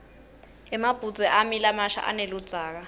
emabhudze ami lamasha aneludzaka